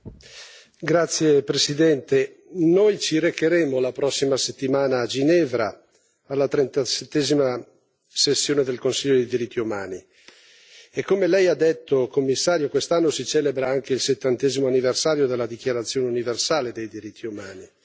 Signor Presidente, onorevoli colleghi, la prossima settimana ci recheremo a Ginevra alla 37a sessione del Consiglio dei diritti umani, e come Lei ha detto, Commissario, quest'anno si celebra anche il 70o anniversario della Dichiarazione universale dei diritti umani.